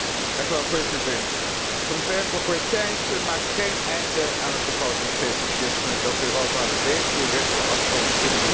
Voorzitter, het ontwerpverslag Thyssen maakt geen einde aan het begrotingsfetisjisme dat Europa regelrecht de afgrond induwt.